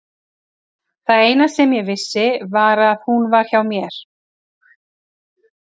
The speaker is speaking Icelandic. Það eina sem ég vissi var að hún var hjá mér.